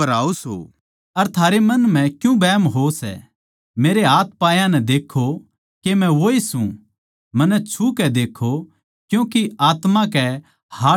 मेरै हाथपायां नै देक्खो के मै वोए सूं मन्नै छु के देक्खो क्यूँके आत्मा के हाडमाँस कोनी होंदे जिसा मेरै म्ह देक्खो सों